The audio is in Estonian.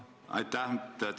Aitäh!